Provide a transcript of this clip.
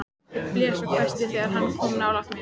Ég blés og hvæsti þegar hann kom nálægt mér.